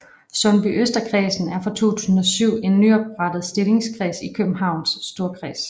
Sundbyøsterkredsen er fra 2007 en nyoprettet opstillingskreds i Københavns Storkreds